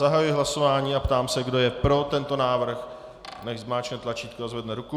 Zahajuji hlasování a ptám se, kdo je pro tento návrh, nechť zmáčkne tlačítko a zvedne ruku.